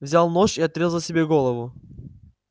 взял нож и отрезал себе голову